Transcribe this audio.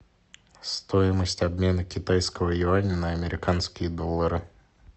стоимость обмена китайского юаня на американские доллары